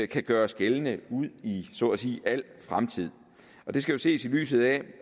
kan gøres gældende ud i så at sige al fremtid og det skal jo ses i lyset af